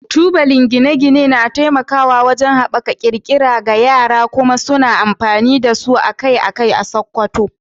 Tubalen gine-gine na taimakawa wajen haɓaka ƙirƙira ga yara, kuma suna amfani da su akai-akai a Sokoto.